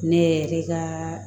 Ne yɛrɛ ka